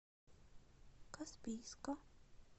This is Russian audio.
каспийска